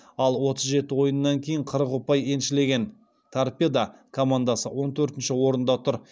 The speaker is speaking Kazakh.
ал отыз жеті ойыннан кейін қырық ұпай еншілеген торпедо командасы он төртінші орында тұр